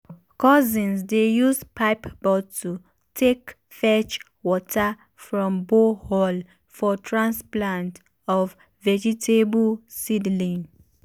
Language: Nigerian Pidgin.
cousins dey use pipe bottle take fetch water from borehole for transplant of vegetable seedling.